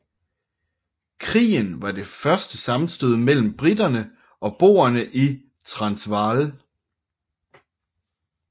Krigen var det første sammenstød mellem briterne og boerne i Transvaal